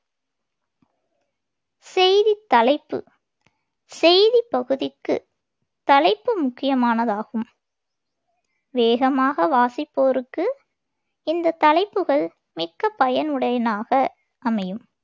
செய்தித் தலைப்பு செய்திப் பகுதிக்குத் தலைப்பு முக்கியமானதாகும் வேகமாக வாசிப்போருக்கு இந்தத் தலைப்புகள் மிக்க பயன் உடையனவாக அமையும்.